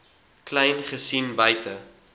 kleyn gesien buite